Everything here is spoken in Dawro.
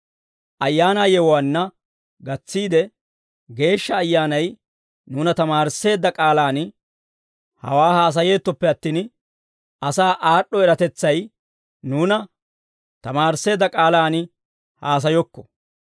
Nuuni ayaanaa yewuwaa ayaanaa yewuwaanna gatsiide, Geeshsha Ayyaanay nuuna tamaarisseedda k'aalaan hawaa haasayeettoppe attin, asaa aad'd'o eratetsay nuuna tamaarisseedda k'aalaan haasayokko.